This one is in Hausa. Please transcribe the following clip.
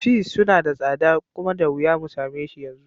Peas suna da tsada kuma da wuya mu sameshi yanzu.